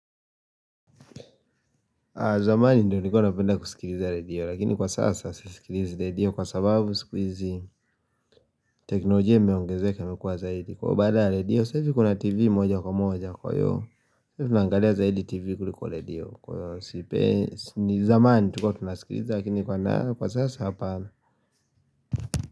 Zamani ndio nikona penda kusikiliza radio lakini kwa sasa sisikiliza radio kwa sababu sikuizi teknolojia imeongezeke na kukuwa zaidi Kwa badala ya radio sahizi kuna tv moja kwa moja kwa noja tu nangalia zaidi tv kuliko radio kwa sipe ni zamani tuko tunasikiliza lakini kwa sasa hapana.